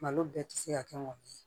Malo bɛɛ ti se ka kɛ mɔni ye